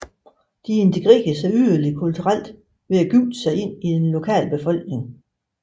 De integrerede sig yderligere kulturelt ved at gifte sig ind i den lokale befolkning